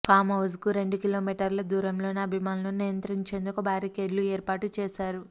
form house కు రెండు కిలోమీటర్ల దూరంలోనే అభిమానుల్ని నియంత్రించేందుకు బ్యారికేడ్లు ఏర్పాటు చేశారు